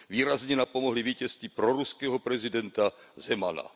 Výrazně napomohly vítězství proruského prezidenta Zemana.